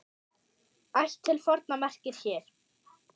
Ætt til forna merkir hér.